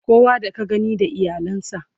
kowa da ka gani da iyalan sa